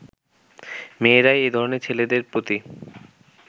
মেয়েরাই এধরনের ছেলেদের প্রতি